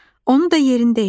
O da yerində idi.